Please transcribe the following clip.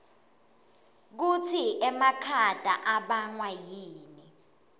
kutsi emakhata abangwa yini